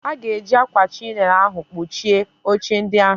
Aga eji ákwà chinail ahụ kpuchie oche ndị ahụ.